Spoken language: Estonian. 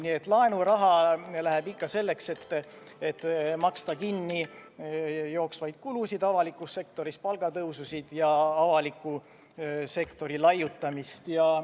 Nii et laenuraha läheb ikka selleks, et maksta kinni avaliku sektori jooksvaid kulusid, palgatõusu ja muidu laiutamist.